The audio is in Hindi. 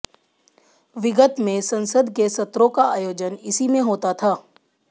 विगत में संसद के सत्रों का आयोजन इसी में होता था